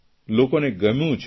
લોકોને ગમ્યું છે